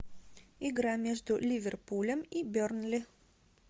игра между ливерпулем и бернли